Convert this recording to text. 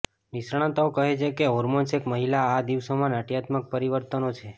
નિષ્ણાતો કહે છે કે હોર્મોન્સ એક મહિલા આ દિવસોમાં નાટ્યાત્મક પરિવર્તનો છે